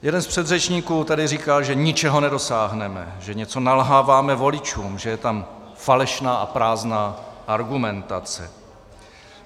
Jeden z předřečníků tady říkal, že ničeho nedosáhneme, že něco nalháváme voličům, že je tam falešná a prázdná argumentace.